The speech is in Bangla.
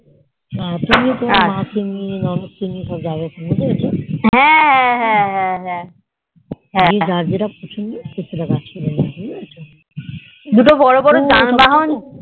তুমি তোমার মা কে নিয়ে তোমার ননদ কে নিয়েই সবাই কে হবে বুজেছো যার যেটা পছন্দ সে সেটা নিয়ে নেবে বুজেহক